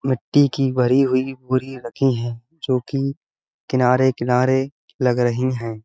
मिट्टी की भरी हुई बोरी रखी हैं जोकि किनारे-किनारे लग रही हैं।